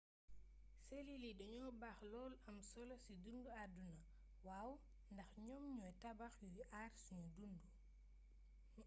selil yi dañoo baax lool am solo si dundu aduna waw ndax ñoom ñoy tabax yuy àar sunu dundu